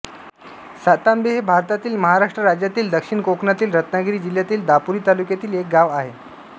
सातांबे हे भारतातील महाराष्ट्र राज्यातील दक्षिण कोकणातील रत्नागिरी जिल्ह्यातील दापोली तालुक्यातील एक गाव आहे